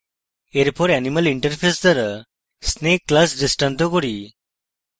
এরপর animal interface দ্বারা snake class দৃষ্টান্ত করি